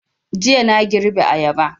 Jiya na girbe ayaba